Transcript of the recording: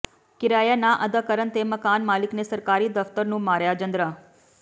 ਕਿਰਾਇਆ ਨਾ ਅਦਾ ਕਰਨ ਤੇ ਮਕਾਨ ਮਾਲਕ ਨੇ ਸਰਕਾਰੀ ਦਫਤਰ ਨੂੰ ਮਾਰਿਆ ਜਿੰਦਰਾ